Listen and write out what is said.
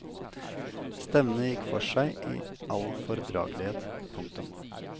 Stevnet gikk for seg i all fordragelighet. punktum